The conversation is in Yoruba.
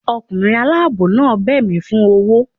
Ọkunrin alabọ naa bẹ mí fun ọwọ